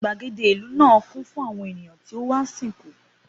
Gbàgede ìlú náà kún fún àwọn ènìyàn tó wá sìnkú